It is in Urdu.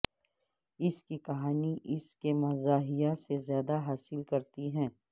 اس کی کہانی اس کے مزاحیہ سے زیادہ حاصل کرتی ہے